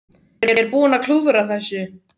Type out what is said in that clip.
Ég er búinn að klúðra þessu